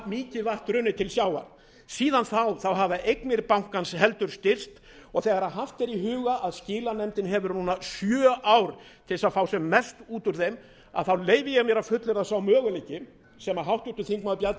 mikið vatn runnið til sjávar síðan þá hafa eignir bankans heldur styrkst og þegar haft er í huga að skilanefndin hefur núna sjö ár til þess að fá sem mest út úr þeim þá leyfi ég mér að fullyrða að sá möguleiki sem háttvirtur þingmaður bjarni